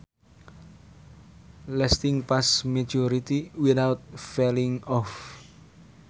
Lasting past maturity without falling off